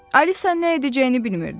Alisa nə edəcəyini bilmirdi.